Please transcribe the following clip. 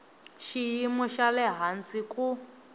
xiyimo xa le hansi ku